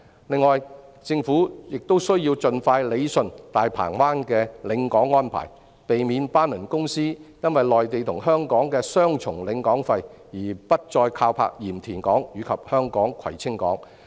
另外，政府亦需要盡快理順大鵬灣的領港安排，避免班輪公司因內地與香港的雙重領港費而不再靠泊鹽田港及香港的葵青港。